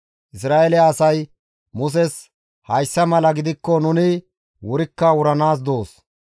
Isra7eele asay Muses, «Hayssa mala gidikko nuni wurikka wuranaas doos!